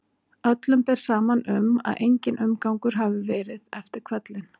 Öllum ber saman um að enginn umgangur hafi verið eftir hvellinn.